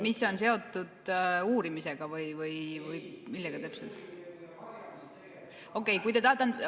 Mis on seotud uurimisega või millega täpselt?